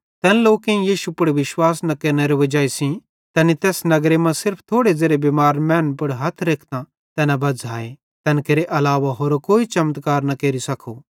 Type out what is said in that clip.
तैन लोकेईं यीशु पुड़ विश्वास न केरनेरे वजाई सेइं तैनी तैस नगरी मां सिर्फ थोड़े ज़ेरे बिमार मैनन् पुड़ हथ रेखतां तैना बज़्झ़ाए तैन केरे अलावा होरो कोई चमत्कार न केरि सको